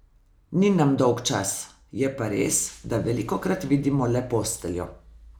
Ni nam dolgčas, je pa res, da velikokrat vidimo le posteljo.